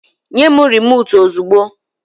Nye m rimòtu ozugbo!